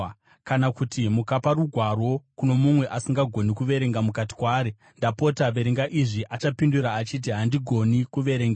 Kana kuti mukapa rugwaro kuno mumwe asingagoni kuverenga, mukati kwaari, “Ndapota, verenga izvi,” achapindura achiti, “Handigoni kuverenga.”